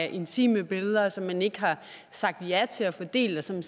intime billeder som man ikke har sagt ja til at få delt og som